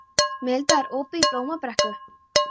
Milda, er opið í Blómabrekku?